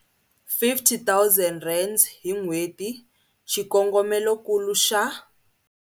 R50 000 hi n'hweti, xikongomelonkulu xa.